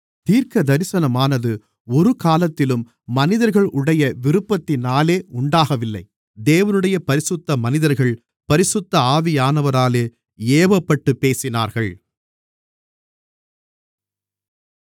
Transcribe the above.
தீர்க்கதரிசனமானது ஒருகாலத்திலும் மனிதர்களுடைய விருப்பத்தினாலே உண்டாகவில்லை தேவனுடைய பரிசுத்த மனிதர்கள் பரிசுத்த ஆவியானவராலே ஏவப்பட்டுப் பேசினார்கள்